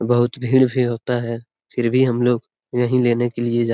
बहुत भीड़ भी होता है फिर भी हम लोग यही लेने के लिए जा --